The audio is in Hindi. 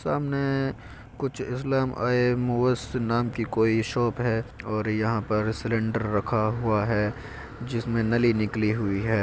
सामने कुछ इस्लाम आय मूवर्स नाम की कोई शॉप है और यहाँ पर सिलिन्डर रखा हुआ है जिसमें नली निकली हुई है।